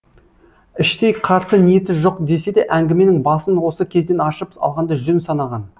іштей қарсы ниеті жоқ десе де әңгіменің басын осы кезден ашып алғанды жөн санаған